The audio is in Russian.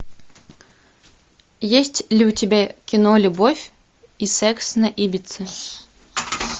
есть ли у тебя кино любовь и секс на ибице